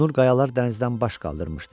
Qonur qayalar dənizdən baş qaldırmışdı.